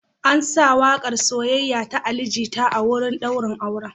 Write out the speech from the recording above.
An sa waƙar “Soyayya” ta Ali Jita a wurin ɗaurin auren.